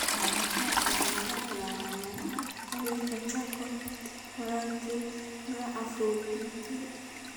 Waa maxay calaamadaha iyo calaamadaha cudurka Charcot Marie Tooth nooca four B two?